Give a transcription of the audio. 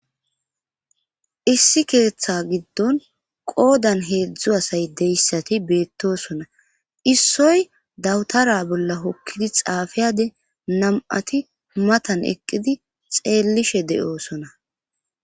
issi keeththa giddon qoodan heedzdzu asay deyssati beettosona issoy dawtara bolla hokkidi xaafiyade nam7ati matan eqqidi xeellishe de7oosona